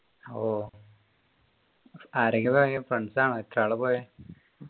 ഓ ആരൊക്കെയാ പോയെ friends ആണോ എത്ര ആളാ പോയെ